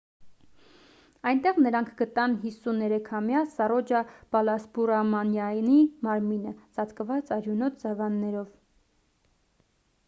այնտեղ նրանք գտան 53-ամյա սառոջա բալասուբրամանյանի մարմինը ծածկված արյունոտ սավաններով